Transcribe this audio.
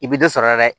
I bɛ dɔ sɔrɔ a la dɛ